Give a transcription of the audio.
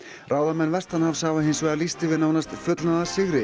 ráðamenn vestanhafs hafa hins vegar lýst yfir nánast fullnaðarsigri